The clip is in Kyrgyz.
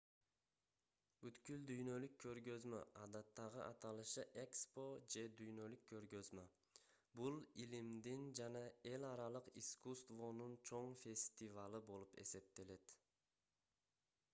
бүткүл дүйнөлүк көргөзмө адаттагы аталышы экспо же дүйнөлүк көргөзмө — бул илимдин жана эл аралык искусствонун чоң фестивалы болуп эсептелет